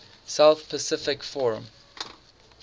south pacific forum